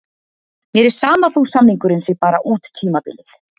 Mér er sama þó samningurinn sé bara út tímabilið.